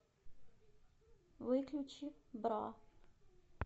выключи бра